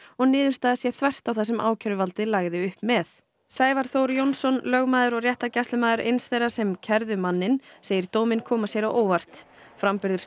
og niðurstaðan sé þvert á það sem ákæruvaldið lagði upp með Sævar Þór Jónsson lögmaður og réttargæslumaður eins þeirra sem kærðu manninn segir dóminn koma sér á óvart framburður